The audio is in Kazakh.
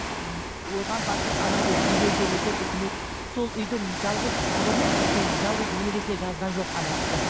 м оған батыр ана деп үй берген екен үкімет сол үйде жалғыз ұлының сол жалғыз немересіне жазған жоқ кісі